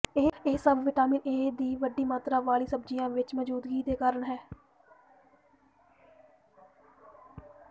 ਇਹ ਸਭ vitamin A ਦੀ ਵੱਡੀ ਮਾਤਰਾ ਵਾਲੀ ਸਬਜ਼ੀਆਂ ਵਿੱਚ ਮੌਜੂਦਗੀ ਦੇ ਕਾਰਨ ਹੈ